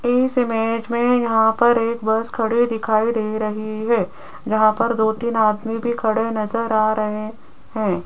इस इमेज में यहां पर एक बस खड़ी दिखाई दे रही है जहां पर दो तीन आदमी भी खड़े नजर आ रहे हैं।